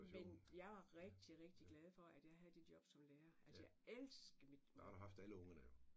Men jeg er rigtig rigtig glad for at jeg havde det job som lærer altså jeg elskede mit